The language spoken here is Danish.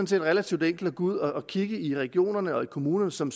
set relativt enkelt at gå ud og kigge i regionerne og kommunerne som